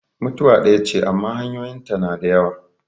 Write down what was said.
Mutuwa ɗaya ce amma hanyoyin ta na da yawa.